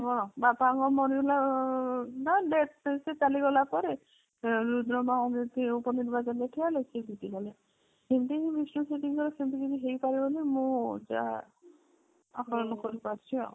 ବାପାଙ୍କ ମରିଗଲା ବା death ରେ ଚାଲିଗଲା ପରେ ରୁଦ୍ର ମହାରଥୀ ଉପ ନିର୍ବାଚନ ରେ ଠିଆ ହେଲେ ସେ ଜିତି ଗଲେ ଏମିତି କି ବିଷ୍ଣୁ ସେଠୀଙ୍କର ସେମିତି କିଛି ହେଇପାରେ ବୋଲି ମୁଁ ଯାହା ଆକଳନ କରି ପାରୁଛି ଆଉ